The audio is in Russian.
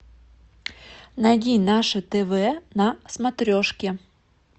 найди наше тв на смотрешке